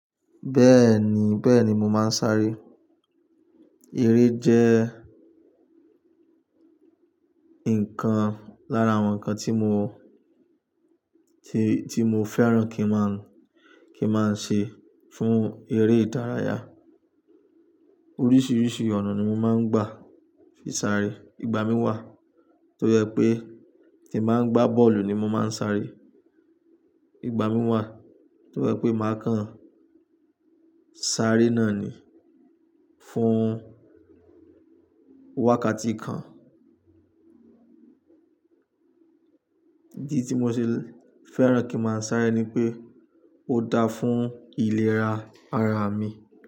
Bẹ́ẹ̀ni, bẹ́ẹ̀ni mò máa ń sáré. Eré jẹ́ ǹkan lára àwọn ǹkan tí mò, tí, tí mò fẹ́ràn kí mà, kí mà ṣe fún eré ìdárayá. Oríṣiríṣi ọ̀nà ni mò máa ń gbà fí sáré. Ìgbà mí wà tó yẹ pé tí mà ń gbá bọ́ọ̀lù ni mò máa ń sáré. Ìgbà mí wà tó yẹ pé mà kàn sáré náà ni fún wákàtí kan. Èyí i tí mò ṣe fẹ́ràn kí mà sáré ni pé ó dáa fún ìlera ara mi.